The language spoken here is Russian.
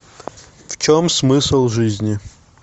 в чем смысл жизни